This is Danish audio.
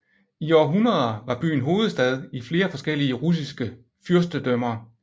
I århundreder var byen hovedstad i flere forskellige russiske fyrstedømmer